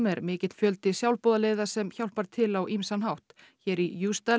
er mikill fjöldi sjálfboðaliða sem hjálpar til á ýmsan hátt hér í